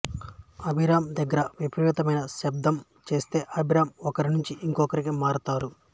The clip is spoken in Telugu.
అభిరామ్ దగ్గర విపరీతమైన శబ్ధం చేస్తే అభిరామ్ ఒకరి నుంచి ఇంకొకరికి మారతారు